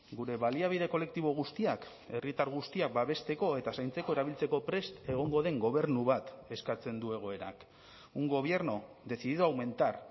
gure baliabide kolektibo guztiak herritar guztiak babesteko eta zaintzeko erabiltzeko prest egongo den gobernu bat eskatzen du egoerak un gobierno decidido a aumentar